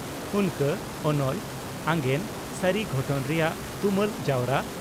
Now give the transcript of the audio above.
"ᱩᱱᱠᱟᱹ" (ᱚᱱᱚᱞ) ᱟᱜᱮᱸᱱ (ᱥᱟᱹᱨᱤ ᱜᱷᱚᱴᱚᱱ ᱨᱮᱭᱟᱜ ᱛᱩᱢᱟᱹᱞ ᱡᱟᱣᱨᱟ